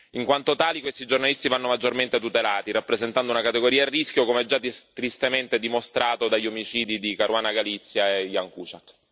In quanto tali, questi giornalisti vanno maggiormente tutelati, rappresentando una categoria a rischio, come già tristemente dimostrato dagli omicidi di Caruana Galizia e Jan Kuciak.